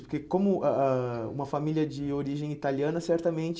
Porque como a a uma família de origem italiana, certamente,